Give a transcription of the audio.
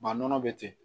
Ba nɔnɔ bɛ ten